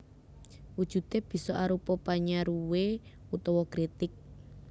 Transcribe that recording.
Wujudé bisa arupa panyaruwé utawa kritik